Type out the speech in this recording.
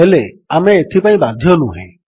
ହେଲେ ଆମେ ଏଥିପାଇଁ ବାଧ୍ୟ ନୁହେଁ